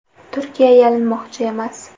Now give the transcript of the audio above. Turkiya yalinmoqchi emas.